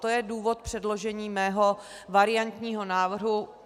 To je důvod předložení mého variantního návrhu.